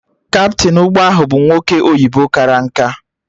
Kaptịn ụgbọ ahụ bụ nwoke oyibo kara nkà